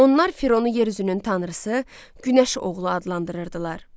Onlar Fironu yer üzünün tanrısı, günəş oğlu adlandırırdılar.